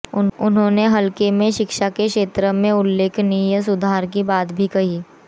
उन्होंने हलके में शिक्षा के क्षेत्र में उल्लेखनीय सुधार की बात भी कही